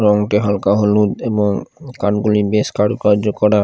রংটা হালকা হলুদ এবং কানগুলি বেশ কারুকার্য করা ।